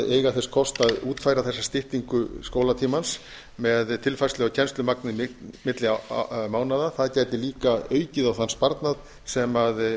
eiga þess kost að útfæra þessa styttingu skólatímans með tilfærslu á kennslumagni milli mánaða það gæti líka aukið á þann sparnað sem